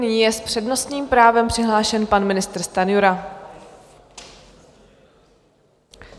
Nyní je s přednostním právem přihlášen pan ministr Stanjura.